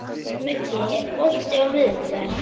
Muggi, er bolti á miðvikudaginn?